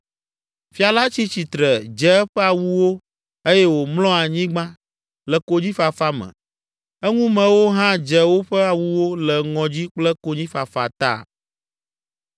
Fia la tsi tsitre, dze eƒe awuwo eye wòmlɔ anyigba, le konyifafa me, eŋumewo hã dze woƒe awuwo le ŋɔdzi kple konyifafa ta.